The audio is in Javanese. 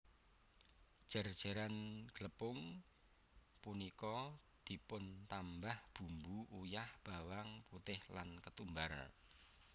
Jer jeran glepung punika dipuntambah bumbu uyah bawang putih lan ketumbar